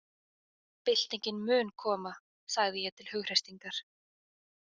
Byltingin mun koma, sagði ég til hughreystingar.